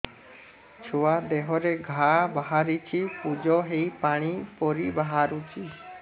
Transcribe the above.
ଛୁଆ ଦେହରେ ଘା ବାହାରିଛି ପୁଜ ହେଇ ପାଣି ପରି ବାହାରୁଚି